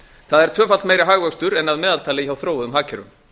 það er tvöfalt meiri hagvöxtur en að meðaltali hjá þróuðum hagkerfum